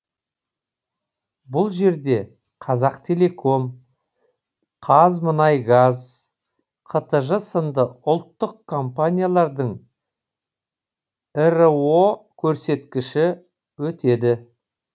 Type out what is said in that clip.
бұл жерде қазақтелеком қазмұнайгаз қтж сынды ұлттық компаниялардың іро көрсеткіші өтеді